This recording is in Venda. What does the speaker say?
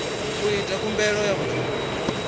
u ita khumbelo ya vhudzulo